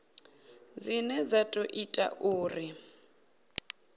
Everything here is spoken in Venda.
dzine dza ḓo ita uri